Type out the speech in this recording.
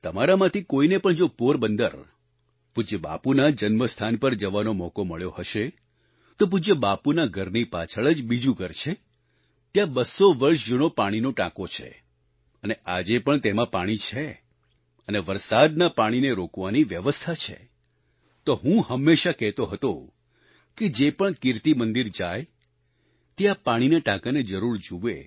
તમારામાંથી કોઈને પણ જો પોરબંદર પૂજ્ય બાપૂના જન્મ સ્થાન પર જવાનો મોકો મળ્યો હશે તો પૂજ્ય બાપૂના ઘરની પાછળ જ બીજું ઘર છે ત્યાં 200 વર્ષ જૂનો પાણીનો ટાંકો છે અને આજે પણ તેમાં પાણી છે અને વરસાદના પાણીને રોકવાની વ્યવસ્થા છે તો હું હંમેશા કહેતો હતો કે જે પણ કીર્તિમંદિર જાય તે આ પાણીના ટાંકાને જરૂર જુએ